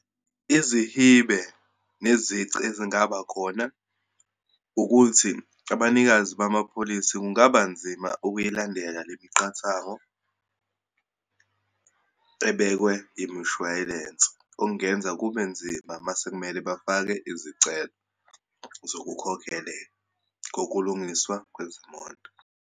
Izihibe nezici ezingabakhona ukuthi, abanikazi bamapholisi kungaba nzima ukuyilandele lemiqathango ebekwe imishayilense. Okungenza kube nzima uma sekumele bafake izicelo zokukhokelelwa kokulungiswa kwezimoto.